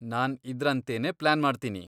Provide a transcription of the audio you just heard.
ನಾನ್ ಇದ್ರಂತೆನೇ ಪ್ಲಾನ್ ಮಾಡ್ತೀನಿ.